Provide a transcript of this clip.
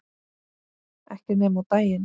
Ekki nema á daginn